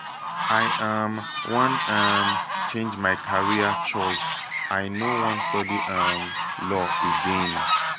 i um wan um change my career choice. i no wan study um law again